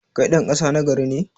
Kai ɗan ƙasa nagari ne?